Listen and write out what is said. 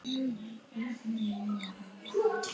Vinátta þín var gulls ígildi.